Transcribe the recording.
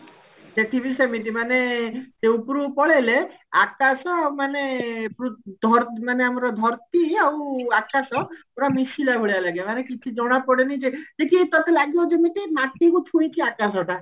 ସେଠି ବି ସେମିତି ମାନେ ଉପରକୁ ପଳେଇଲେ ଆକାଶ ମାନେ ପୂ ଧ ମାନେ ଆମର ଧରତି ଆଉ ଆକାଶ ପୁରା ମିଶିଲା ଭଳିଆ ଲାଗିବ ମାନେ କିଛି ଜଣା ପଡେନି ଯେ ତତେ ଲାଗିବ ଯେମିତି ମତିରୁ ଛୁଇଁଛି ଆକାଶ ଟା